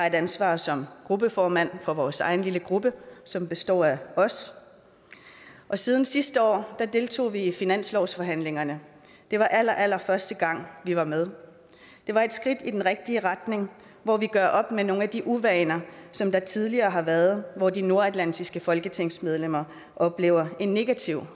et ansvar som gruppeformand for vores egen lille gruppe som består af os og siden sidste år har vi deltaget i finanslovsforhandlingerne det var allerallerførste gang vi var med det var et skridt i den rigtig retning hvor vi gør op med nogle af de uvaner som der tidligere har været og hvor de nordatlantiske folketingsmedlemmer oplever en negativ